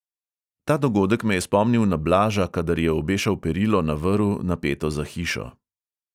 Ta dogodek me je spomnil na blaža, kadar je obešal perilo na vrv, napeto za hišo.